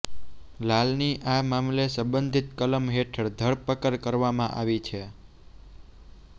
લાલની આ મામલે સંબંધિત કલમ હેઠળ ધરપકડ કરવામાં આવી છે